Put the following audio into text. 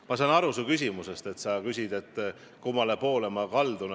Ma sain su küsimusest aru, et sa küsid, kummale poole ma kaldun.